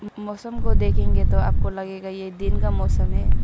मौसम को देखेंगे तो आपको लगेगा कि ये दिन का मौसम है।